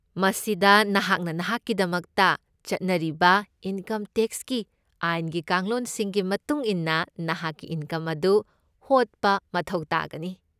ꯃꯁꯤꯗ ꯅꯍꯥꯛꯅ ꯅꯍꯥꯛꯀꯤꯗꯃꯛꯇ ꯆꯠꯅꯔꯤꯕ ꯏꯟꯀꯝ ꯇꯦꯛꯁꯀꯤ ꯑꯥꯏꯟꯒꯤ ꯀꯥꯡꯂꯣꯟꯁꯤꯡꯒꯤ ꯃꯇꯨꯡ ꯏꯟꯅ ꯅꯍꯥꯛꯀꯤ ꯏꯟꯀꯝ ꯑꯗꯨ ꯍꯣꯠꯕ ꯃꯊꯧ ꯇꯥꯒꯅꯤ꯫